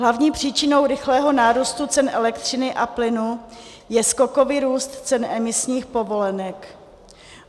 Hlavní příčinou rychlého nárůstu cen elektřiny a plynu je skokový růst cen emisních povolenek.